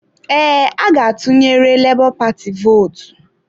Ee, a ga atụnyere lebo paati vootu.